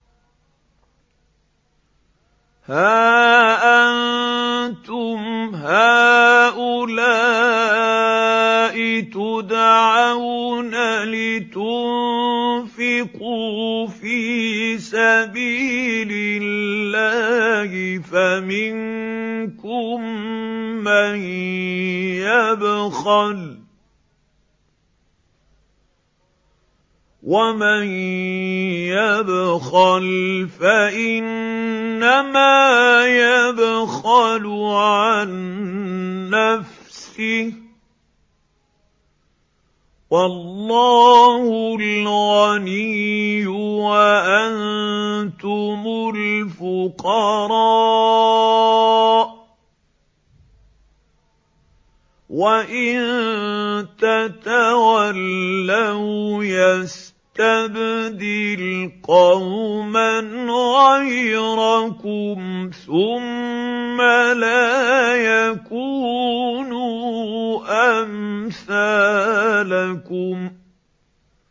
هَا أَنتُمْ هَٰؤُلَاءِ تُدْعَوْنَ لِتُنفِقُوا فِي سَبِيلِ اللَّهِ فَمِنكُم مَّن يَبْخَلُ ۖ وَمَن يَبْخَلْ فَإِنَّمَا يَبْخَلُ عَن نَّفْسِهِ ۚ وَاللَّهُ الْغَنِيُّ وَأَنتُمُ الْفُقَرَاءُ ۚ وَإِن تَتَوَلَّوْا يَسْتَبْدِلْ قَوْمًا غَيْرَكُمْ ثُمَّ لَا يَكُونُوا أَمْثَالَكُم